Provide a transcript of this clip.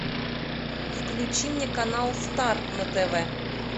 включи мне канал стар на тв